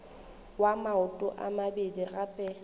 wa maoto a mabedi gape